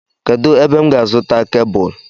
Kedụ ebe m ga-azuta kebụl?